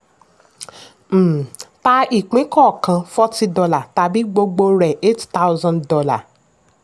um ta ìpín kọọkan forty dollars tàbí gbogbo rẹ̀ eight thousand dollars